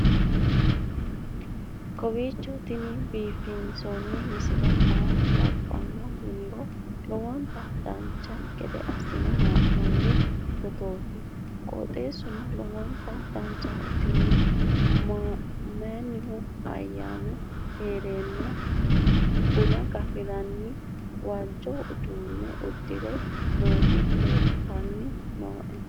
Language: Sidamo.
kowiicho tini biiffanno misile maa labbanno yiniro lowonta dancha gede assine haa'noonni foototi qoxeessuno lowonta danachaho. tini mannu ayyaanu heerenna buna gafire waajjo uduunne uddire nooti leeltanni nooe